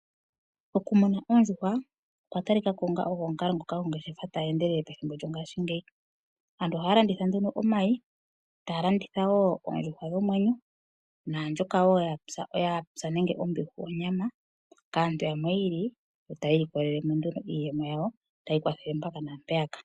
Okumuna oondjuhwa okwa talikako onga omukalo ngoka ongeshefa tayi endelele methimbo lyongaashingeyi. Aantu ohaya landitha nduno omayi taya landithawo oondjuhwa dhomwenyo naandjokawo ya pya nenge onyama kaantu yamwe yiili yo taya ilikolelemo nduno iiyemo yawo yo tayi ikwathele mpaka nampeyaka.